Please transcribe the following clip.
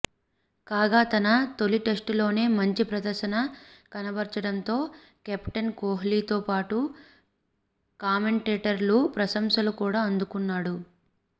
కాగా తన తొలి టెస్టులోనే మంచి ప్రదర్శన కనబర్చడంతో కెప్టెన్ కోహ్లీతో పాటు కామెంటేటర్ల ప్రశంసలు కూడా అందుకున్నాడు